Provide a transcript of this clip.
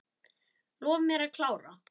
Lof mér að klára.